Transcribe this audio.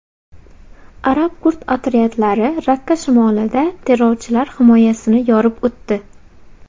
Arab-kurd otryadlari Rakka shimolida terrorchilar himoyasini yorib o‘tdi.